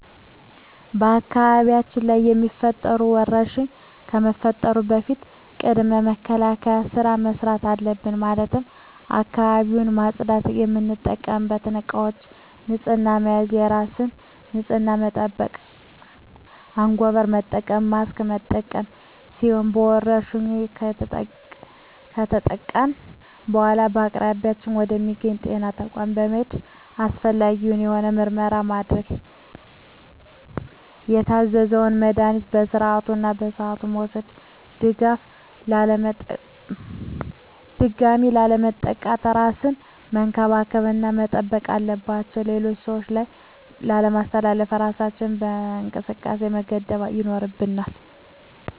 በአካባቢያችን ላይ የሚፈጠሩ ወረርሽኝ ከመፈጠሩ በፊት ቅድመ መከላከል ስራ መስራት አለብን ማለትም አካባቢውን ማፅዳት፣ የምንጠቀምባቸው እቃዎች በንህፅና መያዝ፣ የራስን ንፅህና መጠበቅ፣ አንጎበር መጠቀም፣ ማስክ መጠቀም ሲሆኑ በወረርሽኙ ከተጠቃን በኃላ በአቅራቢያ ወደ ሚገኝ ወደ ጤና ተቋም በመሔድ አስፈላጊውን የሆነ ምርመራ ማድረግ የታዘዘውን መድሀኒቶች በስርዓቱ እና በሰዓቱ መውሰድ ድጋሚ ላለመጠቃት እራስን መንከባከብ እና መጠንቀቅ አለባቸው ሌሎች ሰዎች ላይ ላለማስተላለፍ እራሳችንን ከእንቅስቃሴ መገደብ ይኖርብናል።